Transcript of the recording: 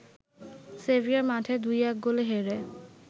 severe মাঠে ২-১ গোলে হেরে